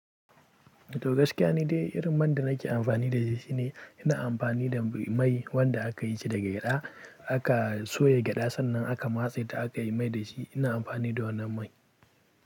To gaskiya ni dai irin man da nake amfani da shi shine ina amfani da mai wanda aka yi shi daga gyada. Aka soya gyada sannan aka matse ta aka yi mai da shi. Ina amfani da wannan mai.